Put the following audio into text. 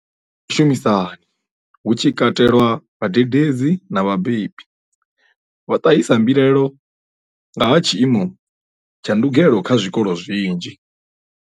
Vhunzhi ha vhashumisani avha hu tshi katelwa vhadededzi na vhabebi vho ṱahisa mbilaelo nga ha tshiimo tsha ndugelo kha zwikolo zwinzhi.